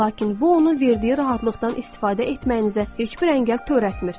Lakin bu, onun verdiyi rahatlıqdan istifadə etməyinizə heç bir əngəl törətmir.